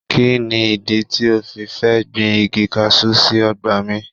Kí ni ìdí tí o fi fẹ́ gbin igi kaṣú sí ọgbà mi?